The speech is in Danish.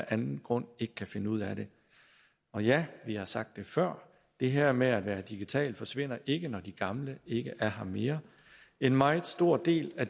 anden grund ikke kan finde ud af det og ja vi har sagt det før det her med at være digital forsvinder ikke når de gamle ikke er her mere en meget stor del af